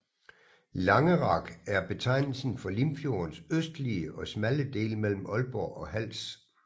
Langerak er betegnelsen for Limfjordens østligste og smalle del mellem Aalborg og Hals